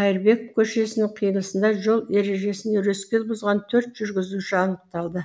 қайырбеков көшесінің қиылысында жол ережесін өрескел бұзған төрт жүргізуші анықталды